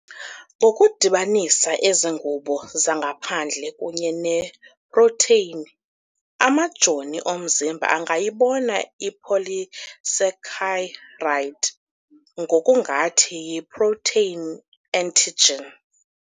Ngokudibanisa ezi ngubo zangaphandle kunye neeprotheyini, amajoni omzimba angayibona ipolysaccharide ngokungathi yiprotheyini antigen.